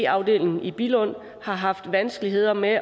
afdeling i billund har haft vanskeligheder med